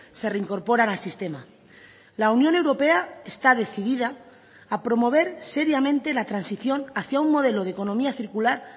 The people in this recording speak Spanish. se reincorporan al sistema la unión europea está decidida a promover seriamente la transición hacia un modelo de economía circular